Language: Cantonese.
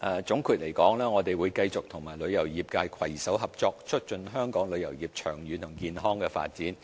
總括而言，我們會繼續與旅遊業界攜手合作，促進香港旅遊業長遠和健康發展。